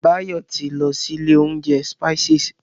Báyọ̀ ti lọ sí ilé oúnjẹ Spices.